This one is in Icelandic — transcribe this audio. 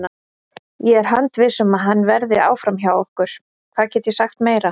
Ég er handviss um að hann verði áfram hjá okkur, hvað get ég sagt meira?